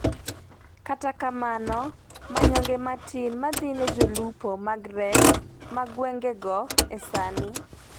katakamno manyonge matin madhine jolupo mag rech ma gwengego e sani